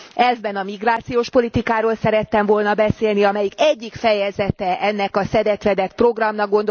Elvben a migrációs politikáról szerettem volna beszélni, amelyik egyik fejezete ennek a szedett vedett programnak.